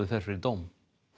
fer fyrir dóm